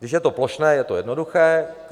Když je to plošné, je to jednoduché.